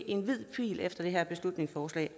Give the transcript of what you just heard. en hvid pind efter det her beslutningsforslag